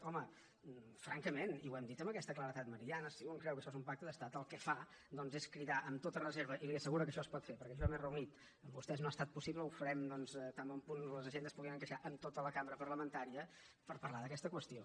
home francament i ho hem dit amb aquesta claredat meridiana si un creu que això és un pacte d’estat el que fa doncs és cridar amb tota reserva i li asseguro que això es pot fer perquè jo m’he reunit amb vostès no ha estat possible ho farem doncs tan bon punt les agendes puguin encaixar amb tota la cambra parlamentària per parlar d’aquesta qüestió